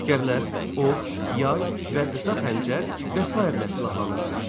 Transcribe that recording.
Əsgərlər ox, yay və qısa xəncər və sairə ilə silahlanırdılar.